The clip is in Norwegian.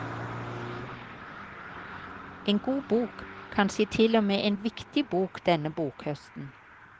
En god bok, kanskje til og med en viktig bok denne bokhøsten.